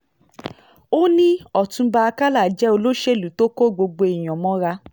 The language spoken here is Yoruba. ó ní ọ̀túnba àkàlà jẹ́ olóṣèlú tó kó gbogbo èèyàn mọ́ra